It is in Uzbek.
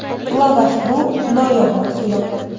Lavash bu noyob mahsulot.